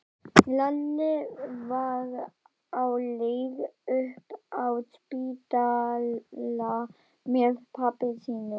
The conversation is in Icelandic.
Lalli var á leið upp á spítala með pabba sínum.